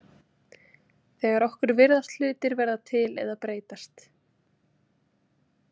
Þegar okkur virðast hlutir verða til eða breytast.